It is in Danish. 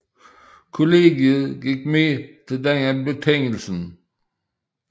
Kollegiet gik med til denne betingelse